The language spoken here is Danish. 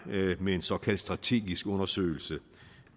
med en såkaldt strategisk undersøgelse